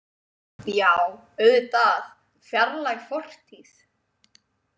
Já, auðvitað, fjarlæg fortíð.